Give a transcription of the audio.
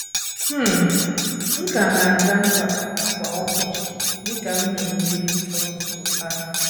um M ka na - aga mkpapụ kwa ụbọchị, dị ka m na - eme eri ọtụtụ afọ.